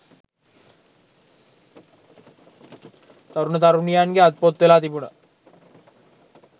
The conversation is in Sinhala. තරුණ තරුණියන්ගේ අත්පොත් වෙලා තිබුණා